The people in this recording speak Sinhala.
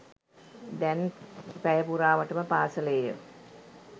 දැන් පැය පුරාවටම පාසලේය